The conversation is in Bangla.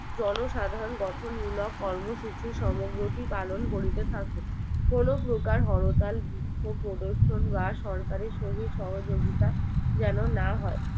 জনসাধারন গঠন মূলক কর্মসূচি সমগ্রটি পালন করিতে থাকে কোনো প্রকার হরতাল ক্রস প্রদর্শন বা সরকারের সহিত সহযোগিতা যেন না হয়